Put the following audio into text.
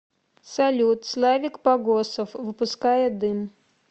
салют славик погосов выпуская дым